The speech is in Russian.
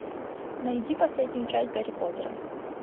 найди последнюю часть гарри поттера